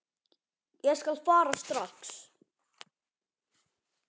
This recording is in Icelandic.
Ég skal fara strax.